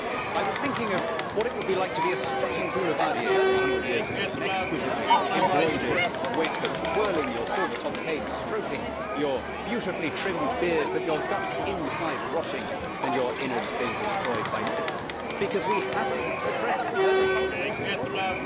I was thinking of what it would be like to be a strutting boulevardier from 100 years ago, with an exquisitely embroidered waistcoat, twirling your silver topped cane, stroking your beautifully trimmed beard, but your guts inside rotting and your innards being destroyed by syphilis because we have not addressed the fundamental problem.